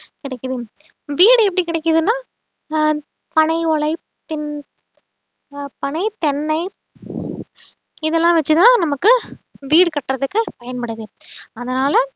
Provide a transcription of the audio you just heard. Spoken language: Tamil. கிடைக்குது வீடு எப்படி கிடைக்குதுன்னா ஆஹ் பனை ஓலை பின் ஆஹ் பனை தென்னை இதெல்லாம் வச்சுதான் நமக்கு வீடு கட்டுறதுக்கு பயன்படுது அதனால